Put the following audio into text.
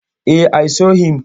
E, I saw him.